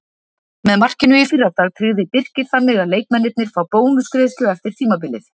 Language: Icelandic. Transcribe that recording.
Með markinu í fyrradag tryggði Birkir þannig að leikmennirnir fá bónusgreiðslu eftir tímabilið.